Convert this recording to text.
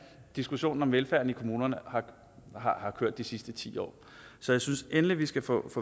diskussionen om velfærden i kommunerne har kørt de sidste ti år så jeg synes endelig at vi skal få